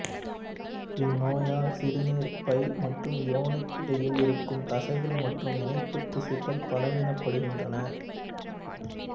இந்நோயால் சிறுநீர்ப்பை மற்றும் யோனிக்கு இடையில் இருக்கும் தசைகள் மற்றும் இணைப்பு திசுக்கள் பலவீனப்படுகின்றன